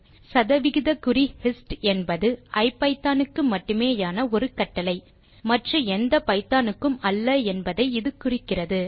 சதவிகிதக்குறி hist என்பது ஐபிதான் க்கு மட்டுமேயான ஒரு கட்டளை மற்ற எந்த பைதானுக்கும் அல்ல என்பதையே இது குறிக்கிறது